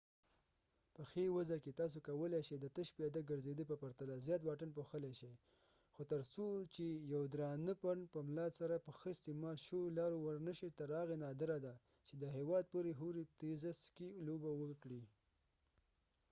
په ښې وضع کې تاسو کولای شې د تش پیاده ګرځېدا په پرتله زیات واټن پوښلای شئ – خو تر څو چې یو درانه پنډ په ملا سره په ښه استعمال شویو لارو ورنشئ تر هغې نادره ده چې د هېواد پورې هورې تېزه سکي لوبه وکړئ